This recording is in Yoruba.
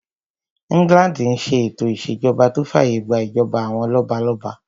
England n ṣe ètò ìṣèjọba tó fàyè gbà ìjọba àwọn lọ́balọ́ba